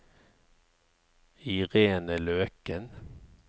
Irene Løken